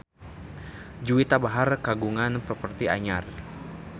Juwita Bahar kagungan properti anyar